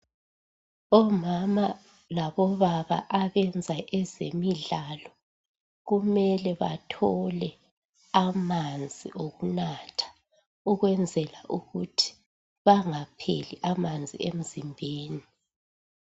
Omama labobaba abenza ezemidlalo kumele bathole amanzi okunatha ukwenzela ukuthi bengapheli amanzi emzimbeni.